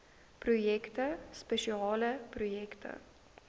projekte spesiale projekte